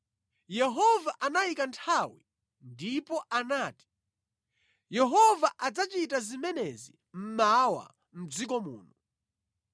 Yehova anayika nthawi ndipo anati, “Yehova adzachita zimenezi mmawa mʼdziko muno.”